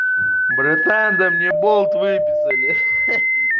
братан да мне болт выписали хе-хе